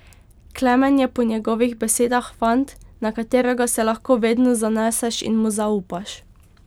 Klemen je po njegovih besedah fant, na katerega se lahko vedno zaneseš in mu zaupaš.